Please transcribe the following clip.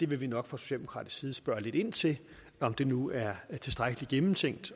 vil vi nok fra socialdemokratisk side spørge lidt ind til om det nu er tilstrækkelig gennemtænkt